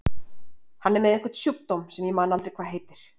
Hann er með einhvern sjúkdóm sem ég man aldrei hvað heitir.